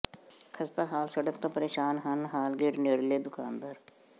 ਖਸਤਾ ਹਾਲ ਸੜਕ ਤੋਂ ਪ੍ਰੇਸ਼ਾਨ ਹਨ ਹਾਲ ਗੇਟ ਨੇੜਲੇ ਦੁਕਾਨਦਾਰ